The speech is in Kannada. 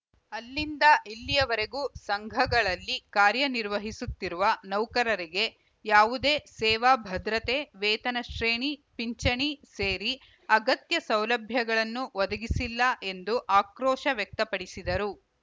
ಅಲ್ಲಿಂದ ಇಲ್ಲಿಯವರೆಗೂ ಸಂಘಗಳಲ್ಲಿ ಕಾರ್ಯನಿರ್ವಹಿಸುತ್ತಿರುವ ನೌಕರರಿಗೆ ಯಾವುದೇ ಸೇವಾಭದ್ರತೆ ವೇತನ ಶ್ರೇಣಿ ಪಿಂಚಣಿ ಸೇರಿ ಅಗತ್ಯ ಸೌಲಭ್ಯಗಳನ್ನು ಒದಗಿಸಿಲ್ಲ ಎಂದು ಆಕ್ರೋಶ ವ್ಯಕ್ತಪಡಿಸಿದರು